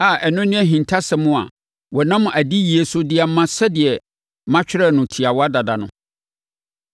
a ɛno ne ahintasɛm a wɔnam adiyie so de ama sɛdeɛ matwerɛ no tiawa dada no.